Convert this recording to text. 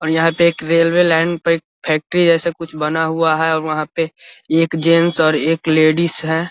और यहां पर एक रेलवे लाइन पर एक फैक्ट्री जैसे कुछ बना हुआ है और वहां पर एक जेंट्स और एक लेडिस है।